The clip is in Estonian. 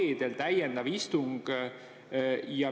Reedel toimub täiendav istung.